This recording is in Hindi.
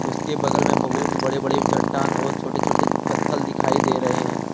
उसके बगल में बहुत बड़े बड़े चट्टान और छोटे छोटे पत्थल दिखाई दे रहे हैं।